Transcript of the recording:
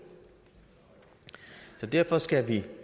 derfor skal vi